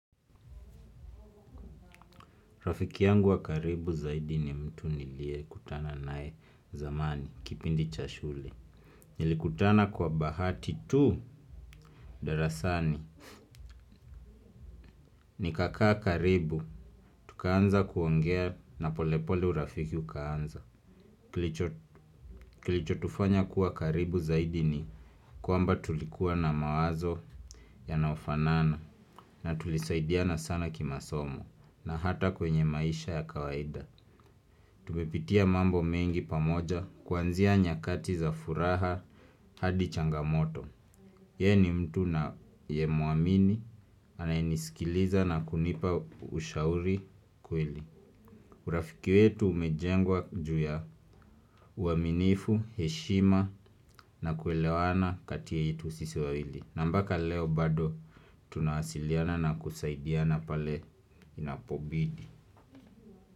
Rafiki yangu wa karibu zaidi ni mtu niliye kutana nae zamani kipindi cha shule. Nilikutana kwa bahati tu darasani. Nikakaa karibu, tukaanza kuongea na polepole urafiki ukaanza. Kilichotufanya kuwa karibu zaidi ni kwamba tulikuwa na mawazo yanayofanana. Na tulisaidiana sana kimasomo na hata kwenye maisha ya kawaida. Tumepitia mambo mengi pamoja kuanzia nyakati za furaha hadi changamoto. Yeye ni mtu ninayemuamini anayenisikiliza na kunipa ushauri kweli. Urafiki wetu umejengwa juu ya uaminifu, heshima na kuelewana kati yetu sisi wawili. Na mbaka leo bado tunawasiliana na kusaidiana pale inapobidi.